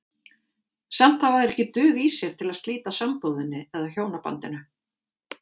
Samt hafa þeir ekki dug í sér til að slíta sambúðinni eða hjónabandinu.